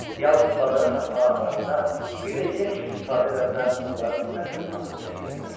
Yalnız bazara satmağa aparanda, bir də yem kimi istifadə edəndə onların əsl adını çəkirdilər.